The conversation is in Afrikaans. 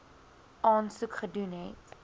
aansoek gedoen het